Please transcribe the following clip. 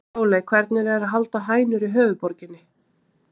Sóley, hvernig er að halda hænur í höfuðborginni?